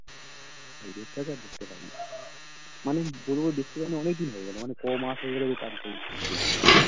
রুপ্সাকে আর দেখতে পাই না মানে বলবো দেখতে পাইনি অনেক দিন হয়ে গেলো মানে কমাস হয়ে গেলো তার কোনো ঠিক নেই